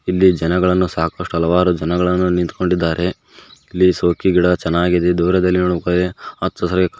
ಇಲ್ಲಿ ಜನಗಳನ್ನು ಸಾಕಷ್ಟು ಹಲವಾರು ಜನಗಳನ್ನು ನಿಂತುಕೊಂಡಿದ್ದಾರೆ ಇಲ್ಲಿ ಶೋಕಿಗಿಡ ಚೆನ್ನಾಗಿದೆ ದೂರದಲ್ಲಿ ನೋಡಬೇಕಂದ್ರ ಹಚ್ಚ ಹಸರಾಗಿ --